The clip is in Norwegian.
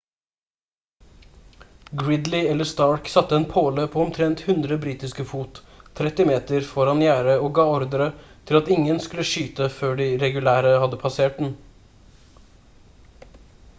gridley eller stark satte en påle omtrent 100 britiske fot 30 m foran gjerdet og ga ordre til at ingen skulle skyte før de regulære hadde passert den